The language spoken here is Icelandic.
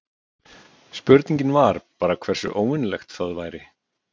Spurningin var bara hversu óvenjulegt það væri.